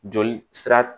Joli sira